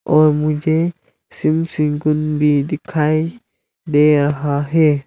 और मुझे सिम सिम गुन भी दिखाई दे रहा है।